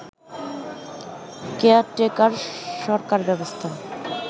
caretaker সরকার ব্যবস্থা